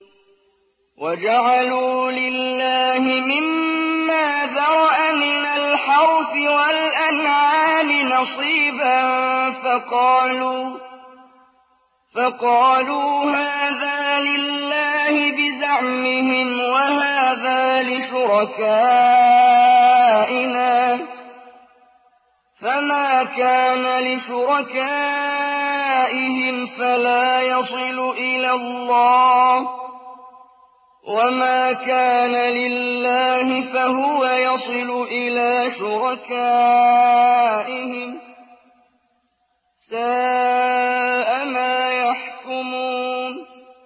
وَجَعَلُوا لِلَّهِ مِمَّا ذَرَأَ مِنَ الْحَرْثِ وَالْأَنْعَامِ نَصِيبًا فَقَالُوا هَٰذَا لِلَّهِ بِزَعْمِهِمْ وَهَٰذَا لِشُرَكَائِنَا ۖ فَمَا كَانَ لِشُرَكَائِهِمْ فَلَا يَصِلُ إِلَى اللَّهِ ۖ وَمَا كَانَ لِلَّهِ فَهُوَ يَصِلُ إِلَىٰ شُرَكَائِهِمْ ۗ سَاءَ مَا يَحْكُمُونَ